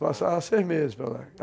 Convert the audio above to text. Passava seis meses para lá.